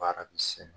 Baara bɛ se